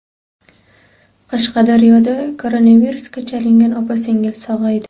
Qashqadaryoda koronavirusga chalingan opa-singil sog‘aydi.